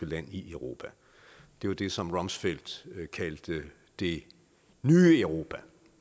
land i europa det var det som rumsfeld kaldte det nye europa